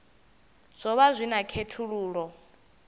zwo vha zwi na khethululoe